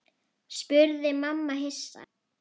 spurði mamma hissa.